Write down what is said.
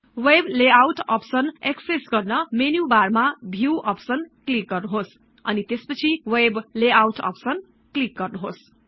web layout option access गर्न menu bar मा view option click गर्नुहोस् अनि त्यसपछि वेब लेआउट अप्सन क्लिक् गर्नुहोस्